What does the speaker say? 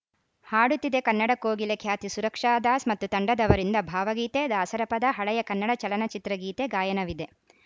ಹಾಡುತಿದೆ ಕನ್ನಡ ಕೋಗಿಲೆ ಖ್ಯಾತಿ ಸುರಕ್ಷಾದಾಸ್‌ ಮತ್ತು ತಂಡದವರಿಂದ ಭಾವಗೀತೆ ದಾಸರಪದ ಹಳೆಯ ಕನ್ನಡ ಚಲನಚಿತ್ರಗೀತೆ ಗಾಯನವಿದೆ